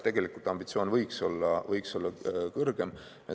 Tegelikult ambitsioon võiks olla kõrgem.